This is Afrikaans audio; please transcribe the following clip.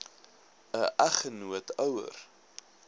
n eggenoot ouer